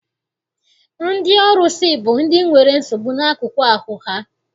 Ndị ọrụsị bụ ndị nwere nsogbu n'akụkụ ahụ ha.